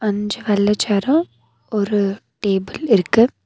அஞ்சு வெள்ள சேரூம் ஒரு டேபிள் இருக்கு.